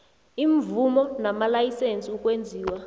iimvumo namalayisense ukwenziwa